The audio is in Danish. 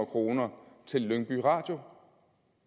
kroner til lyngby radio